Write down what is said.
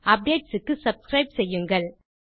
updates க்கு subscribe செய்யுங்கள்